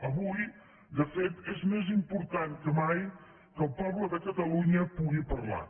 avui de fet és més important que mai que el poble de catalunya pugui parlar